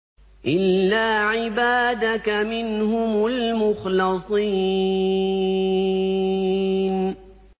إِلَّا عِبَادَكَ مِنْهُمُ الْمُخْلَصِينَ